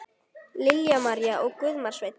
Lilja María og Guðmar Sveinn.